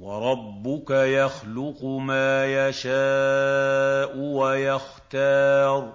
وَرَبُّكَ يَخْلُقُ مَا يَشَاءُ وَيَخْتَارُ ۗ